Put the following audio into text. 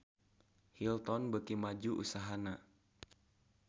Hilton beuki maju usahana